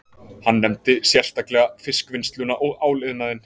Hann nefndi sérstaklega fiskvinnsluna og áliðnaðinn